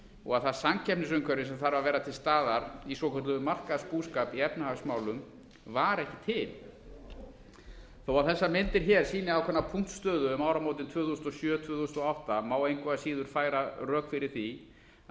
og að það samkeppnisumhverfi sem þarf að vera til staðar í svokölluðum markaðsbúskap í efnahagsmálum var ekki til þó að þessar myndir hér sýni ákveðna punktstöðu um áramótin tvö þúsund og sjö tvö þúsund og átta má engu að síður færa rök fyrir því að